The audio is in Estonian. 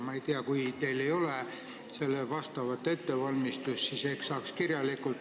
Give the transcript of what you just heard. Ma ei tea, kui te ei ole saanud selleks ette valmistada, siis ehk vastate kirjalikult.